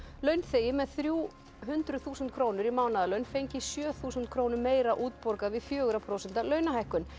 launþegi með þrjú hundruð þúsund krónur í mánaðarlaun fengi sjö þúsund krónum meira útborgað við fjögurra prósenta launahækkun